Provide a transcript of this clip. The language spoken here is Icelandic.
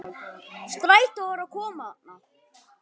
Strætó er að koma þarna!